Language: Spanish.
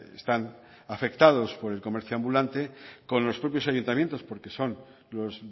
están afectados por el comercio ambulante con los propios ayuntamientos porque son los